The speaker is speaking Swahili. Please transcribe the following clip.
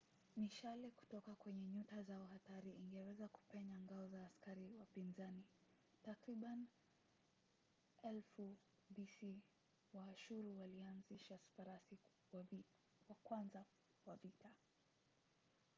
mishale kutoka kwenye nyuta zao hatari ingeweza kupenya ngao za askari wapinzani. takribani 1000 bc waashuru walianzisha farasi wa kwanza wa vita